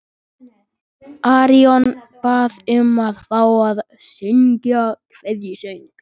Arion bað um að fá að syngja kveðjusöng.